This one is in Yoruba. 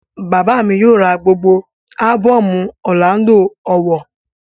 Bàbá mi yóò ra gbogbo ábọ̀mù Ọrlando Ọwọh